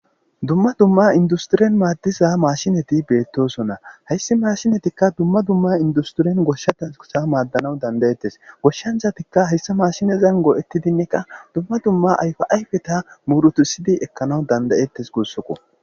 dumma dumma industiren maaddisa maashinati beettosonna hayssi maashinatikka dumma dumma industirien goshshatsa maaddanawu dandayettes goshshanzatikka hayssa maashinezan go7ettidinnekka dumma dumma ayfa7ayfeta murutusidi ekkanaw dandayettes gussoko